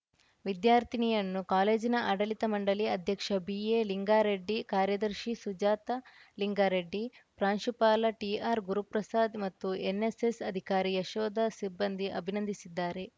ವಿದ್ಯಾರ್ಥಿನಿಯನ್ನು ಕಾಲೇಜಿನ ಆಡಳಿತ ಮಂಡಳಿ ಅಧ್ಯಕ್ಷ ಬಿಎಲಿಂಗಾರೆಡ್ಡಿ ಕಾರ್ಯದರ್ಶಿ ಸುಜಾತ ಲಿಂಗಾರೆಡ್ಡಿ ಪ್ರಾಂಶುಪಾಲ ಟಿಆರ್‌ ಗುರುಪ್ರಸಾದ್‌ ಮತ್ತು ಎನ್‌ಎಸ್‌ಎಸ್‌ ಅಧಿಕಾರಿ ಯಶೋಧ ಸಿಬ್ಬಂದಿ ಅಭಿನಂದಿಸಿದ್ದಾರೆ